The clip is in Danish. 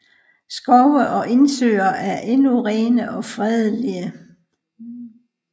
Skove og indsøer er endnu rene og fredelige